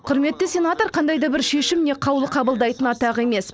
құрметті сенатор қандай да бір шешім не қаулы қабылдайтын атақ емес